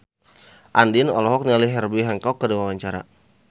Andien olohok ningali Herbie Hancock keur diwawancara